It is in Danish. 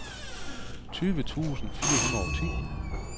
tyve tusind fire hundrede og ti